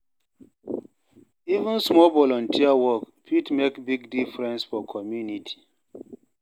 Even small volunteer work, fit make big difference for community.